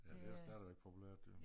Ja det stadigvæk populært jo